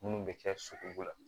Munnu bɛ kɛ sogo la